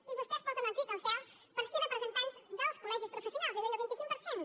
i vostès posen el crit al cel per sis representants dels col·legis professionals és a dir el vint cinc per cent